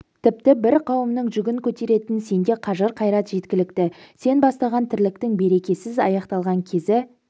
тіпті бір кауымның жүгін көтеретін сенде қажыр қайрат жеткілікті сен бастаган тірліктің берекесіз аякталган кезі